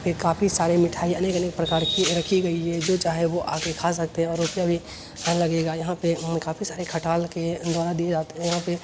ये काफी सारी मिठाई अनेक-अनेक प्रकार की रखी गई है जो चाहे वो आके खा सकते हैं और रुपया भी ना लगेगा यहाँ पे म काफ़ी सारे खटाल के द्वारा दिए जाते हैं यहाँ पे --